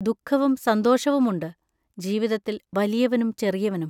ദുഃഖവും സന്തോഷവുമുണ്ട്, ജീവിതത്തിൽ വലിയവനും ചെറിയവനും.